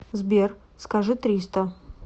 сбер скажи триста